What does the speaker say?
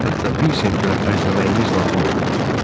Hətta bir sent belə xərcləməyiniz lazım olmayacaq.